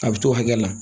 A bɛ t'o hakɛ la